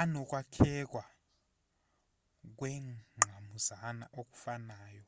anokwakhekwa kwengqamuzana okufanayo